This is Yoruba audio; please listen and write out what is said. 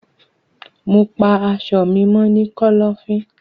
Mo pa aṣọ mi mọ ni kọlọfin.